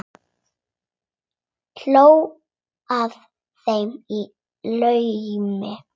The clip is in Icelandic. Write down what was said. Hló að þeim í laumi.